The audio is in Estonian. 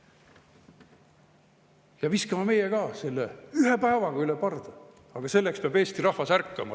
Ja viskame meie ka selle ühe päevaga üle parda, aga selleks peab Eesti rahvas ärkama.